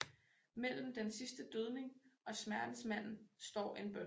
Mellem den sidste dødning og Smertensmanden står en bøn